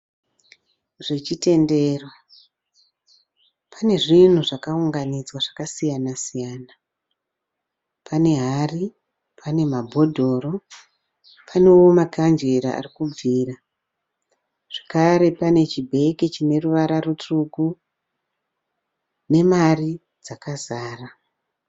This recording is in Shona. Zvechitendero pane zvinhu zvakaunganidzwa zvakasiyana siyana. Pane hari, pane mabhodhoro panewo makandhlera ari kubvira. Zvekare pane chibhegi chine ruvara rutsvuku nemari yakazara.